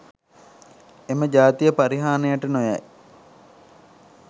එම ජාතිය පරිහානියට නොයයි